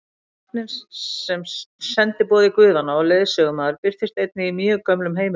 Hrafninn sem sendiboði guðanna og leiðsögumaður birtist einnig í mjög gömlum heimildum.